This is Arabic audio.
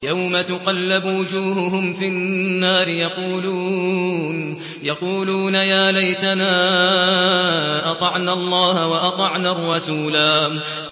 يَوْمَ تُقَلَّبُ وُجُوهُهُمْ فِي النَّارِ يَقُولُونَ يَا لَيْتَنَا أَطَعْنَا اللَّهَ وَأَطَعْنَا الرَّسُولَا